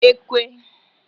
ékwé